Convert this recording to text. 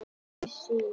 Ein sýn.